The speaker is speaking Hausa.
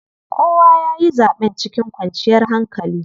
Kowa yayi zaɓen cikin kwanciyar hankali.